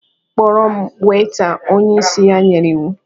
"Kpọrọ m Weita" onye isi ya nyere iwu